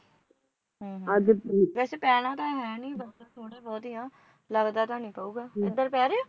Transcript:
ਵੈਸੇ ਪੈਣਾ ਤਾਂ ਹੈ ਨਹੀਂ, ਬੱਦਲ ਥੋੜੇ ਬਹੁਤ ਹੀ ਆ, ਲਗਦਾ ਤਾਂ ਨਹੀਂ ਪਉਗਾ ਇਧਰ ਪਊਗਾ